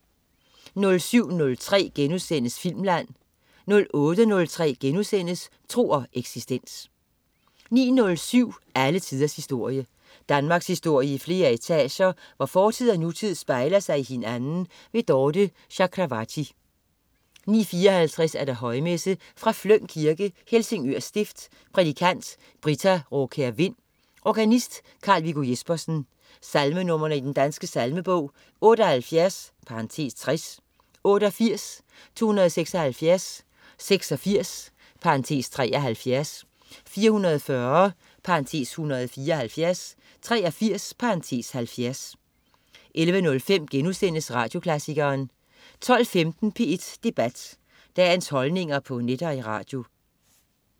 07.03 Filmland* 08.03 Tro og eksistens* 09.07 Alle tiders historie. Danmarkshistorie i flere etager, hvor fortid og nutid spejler sig i hinanden. Dorthe Chakravarty 09.54 Højmesse. Fra Fløng Kirke, Helsingør stift. Prædikant: Britta Raakjær Vind. Organist: Carl Viggo Jespersen. Salmenr. i Den Danske Salmebog: 78 (60), 88, 276, 86 (73), 440 (174), 83 (70) 11.05 Radioklassikeren* 12.15 P1 Debat. Dagens holdninger på net og i radio